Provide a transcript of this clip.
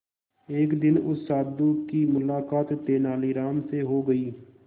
एक दिन उस साधु की मुलाकात तेनालीराम से हो गई